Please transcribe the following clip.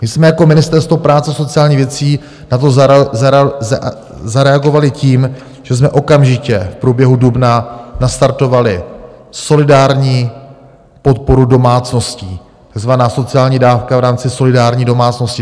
My jsme jako Ministerstvo práce a sociálních věcí na to zareagovali tím, že jsme okamžitě v průběhu dubna nastartovali solidární podporu domácností - takzvaná sociální dávka v rámci solidární domácnosti.